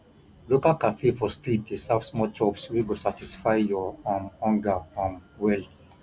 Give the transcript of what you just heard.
local cafe for street dey serve small chops wey go satisfy your um hunger um well